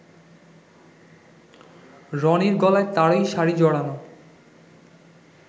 রনির গলায় তারই শাড়ি জড়ানো